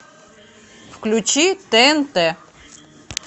включи тнт